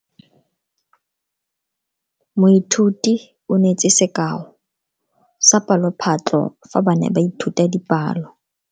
Moithuti o neetse sekao sa palophatlo fa ba ne ba ithuta dipalo.